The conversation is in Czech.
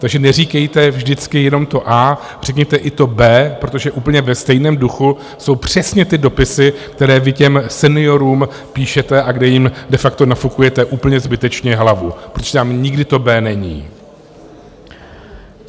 Takže neříkejte vždycky jenom to a, řekněte i to b, protože úplně ve stejném duchu jsou přesně ty dopisy, které vy těm seniorům píšete a kde jim de facto nafukujete úplně zbytečně hlavu, protože tam nikdy to b není.